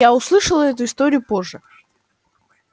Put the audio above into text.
я услышала эту историю позже